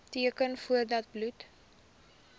teken voordat bloed